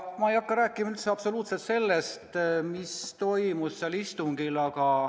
Ma ei hakka üldse rääkima sellest, mis toimus seal istungil.